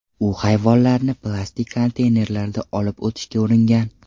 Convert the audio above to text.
U hayvonlarni plastik konteynerlarda olib o‘tishga uringan.